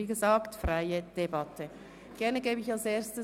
Es ist wie gesagt eine freie Debatte.